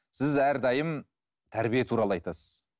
сіз әрдайым тәрбие туралы айтасыз